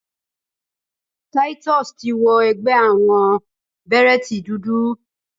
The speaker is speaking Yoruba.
Titus ti wọ ẹgbẹ́ àwọnbèrẹ́tì dúdú.